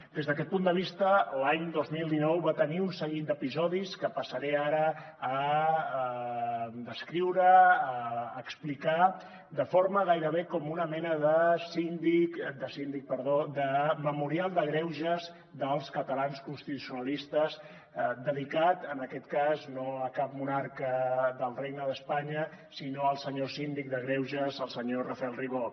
des d’aquest punt de vista l’any dos mil dinou va tenir un seguit d’episodis que passaré ara a descriure a explicar de forma gairebé com una mena de memorial de greuges dels catalans constitucionalistes dedicat en aquest cas no a cap monarca del regne d’espanya sinó al senyor síndic de greuges al senyor rafael ribó